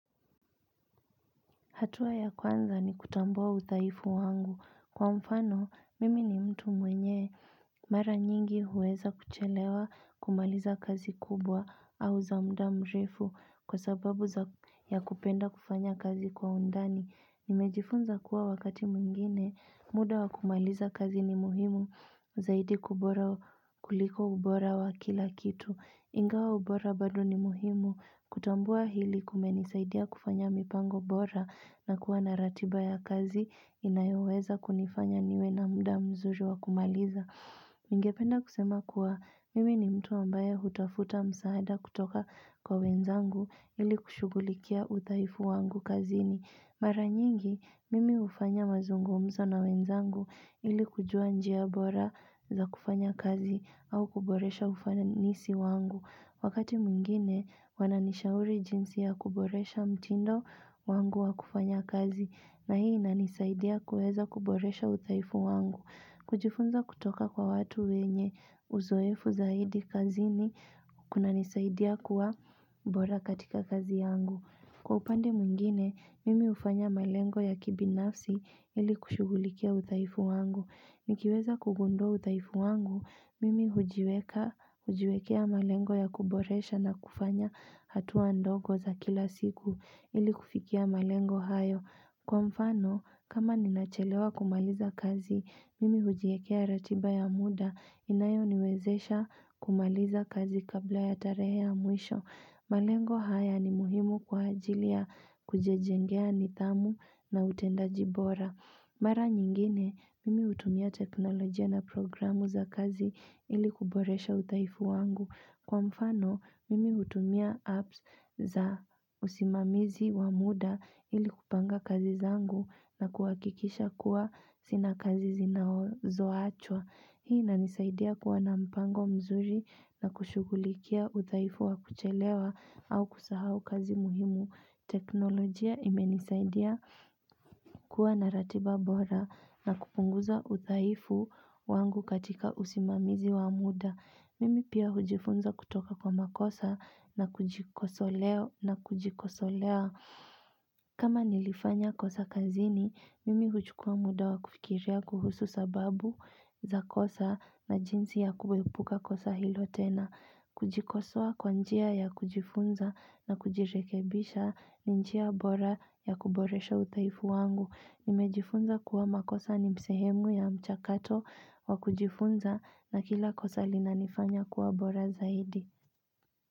Hatua ya kwanza ni kutambua udhaifu wangu. Kwa mfano, mimi ni mtu mwenye. Mara nyingi huweza kuchelewa kumaliza kazi kubwa au za mda mrefu kwa sababu ya kupenda kufanya kazi kwa undani. Nimejifunza kuwa wakati mwingine, muda wa kumaliza kazi ni muhimu, zaidi kuliko ubora wa kila kitu. Ingawa ubora bado ni muhimu, kutambua hili kumenisaidia kufanya mipango bora na kuwa na ratiba ya kazi, inayoweza kunifanya niwe na muda mzuri wa kumaliza. Ningependa kusema kuwa mimi ni mtu ambaye hutafuta msaada kutoka kwa wenzangu ili kushugulikia udhaifu wangu kazini. Mara nyingi mimi hufanya mazungumzo na wenzangu ili kujua njia bora za kufanya kazi au kuboresha ufanisi wangu. Wakati mwingine wananishauri jinsi ya kuboresha mtindo wangu wa kufanya kazi na hii inanisaidia kuweza kuboresha udhaifu wangu. Kujifunza kutoka kwa watu wenye uzoefu zaidi kazini kunanisaidia kuwa bora katika kazi yangu. Kwa upande mwingine, mimi hufanya malengo ya kibinafsi ili kushughulikia udhaifu wangu. Nikiweza kugundua udhaifu wangu, mimi hujiwekea malengo ya kuboresha na kufanya hatua ndogo za kila siku ili kufikia malengo hayo. Kwa mfano, kama ninachelewa kumaliza kazi, mimi hujiwekea ratiba ya muda inayoniwezesha kumaliza kazi kabla ya tarehe ya mwisho. Malengo haya ni muhimu kwa ajili ya kujijengea nidhamu na utendaji bora. Mara nyingine, mimi hutumia teknolojia na programu za kazi ili kuboresha udhaifu wangu. Kwa mfano, mimi hutumia apps za usimamizi wa muda ili kupanga kazi zangu na kuhakikisha kuwa sina kazi zinazoachwa. Hii inanisaidia kuwa na mpango mzuri na kushughulikia udhaifu wa kuchelewa au kusahau kazi muhimu teknolojia imenisaidia kuwa na ratiba bora na kupunguza udhaifu wangu katika usimamizi wa muda Mimi pia hujifunza kutoka kwa makosa na kujikosolea kama nilifanya kosa kazini, mimi huchukua muda wa kufikiria kuhusu sababu za kosa na jinsi ya kuepuka kosa hilo tena. Kujikosoa kwa njia ya kujifunza na kujirekebisha ni njia bora ya kuboresha udhaifu wangu. Nimejifunza kuwa makosa ni sehemu ya mchakato wa kujifunza na kila kosa linanifanya kuwa bora zaidi.